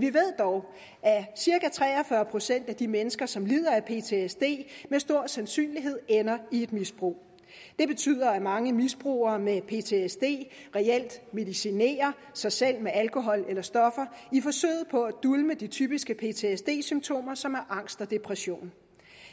vi ved dog at cirka tre og fyrre procent af de mennesker som lider af ptsd med stor sandsynlighed ender i et misbrug det betyder at mange misbrugere med ptsd reelt medicinerer sig selv med alkohol eller stoffer i forsøget på at dulme de typiske ptsd symptomer som er angst og depression